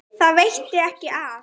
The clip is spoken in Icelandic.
Það veitti ekki af.